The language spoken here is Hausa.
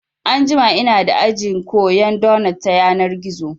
Anjima inada aji koyan donot ta yanar gizo